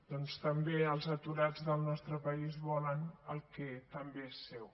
doncs també els aturats del nostre país volen el que també és seu